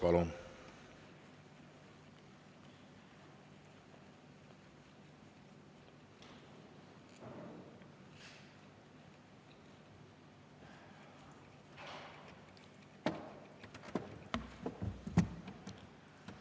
Palun!